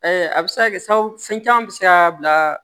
a bɛ se ka kɛ sababu fɛn caman bɛ se ka bila